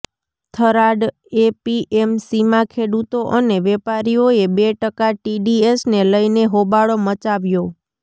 થરાદ એપીએમસીમા ખેડૂતો અને વેપારીઓએ બે ટકા ટીડીએસને લઇને હોબાળો મચાવ્યો